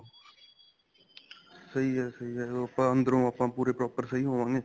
ਸਹੀ ਹੈ ਸਹੀ ਹੈ ਉਹ ਆਪਾਂ ਅੰਦਰੋ ਆਪਾਂ ਪੂਰੇ proper ਸਹੀ ਹੋਵਾਗੇ